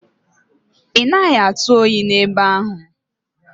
Ị naghị atụ oyi n'ebe ahụ?